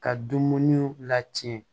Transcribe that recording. Ka dumuni lacɛn